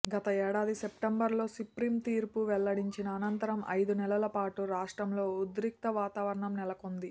గత ఏడాది పెప్టెంబర్లో సుప్రీం తీర్పు వెల్లడించిన అనంతరం ఐదు నెలల పాటు రాష్ట్రంలో ఉద్రిక్త వాతావరణం నెలకొంది